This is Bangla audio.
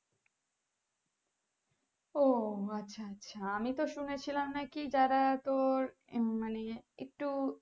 ও আচ্ছা আচ্ছা আমি তো শুনেছিলাম নাকি যারা তোর হম মানে একটু